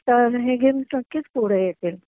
तर हे गेम्स नक्कीच पुढे येतील